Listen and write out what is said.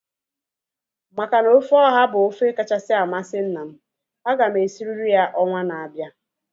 Maka na ofe ọha bụ ofe kachasị amasị nna m, aga m esirie ya ọnwa na-abịa